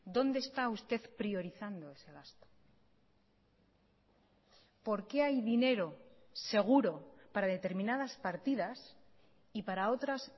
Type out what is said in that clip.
dónde está usted priorizando ese gasto por qué hay dinero seguro para determinadas partidas y para otras